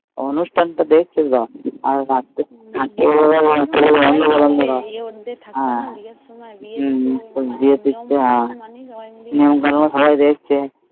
অনুষ্ঠান তো দেখছে সব অন্ধকার অন্ধকার বিয়ের সময় থাকে ছিল না নিমন্তন্ন করে সবাই দেখছে